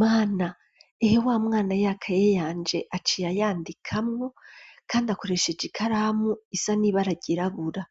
Mana! Ehe wa mwana, ya kaye yanje, aciye ayandikamwo, kandi akoresheje ikaramu, isa n'ibara ryirabura;